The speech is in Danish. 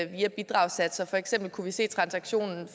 via bidragssatserne for eksempel kunne vi se transaktionen